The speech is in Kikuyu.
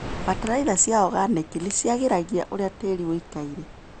Bataraitha cia organĩki nĩciagĩragia ũrĩa tĩri wĩikaire.